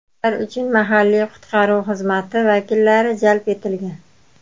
Ular uchun mahalliy qutqaruv xizmati vakillari jalb etilgan.